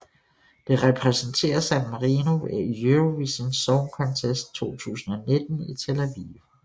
Det repræsenterer San Marino ved Eurovision Song Contest 2019 i Tel Aviv